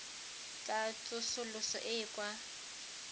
tsa tsosoloso e e kwa